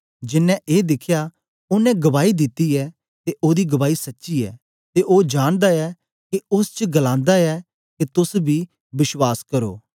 जेनें ए दिखया ओनें गवाई दिती ऐ ते ओदी गवाही सच्ची ऐ ते ओ जानदा ऐ के ओस च गलांदा ऐ के तोस बी बश्वास करो